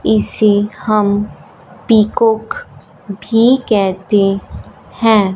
इसे हम पीकॉक भी कहते हैं।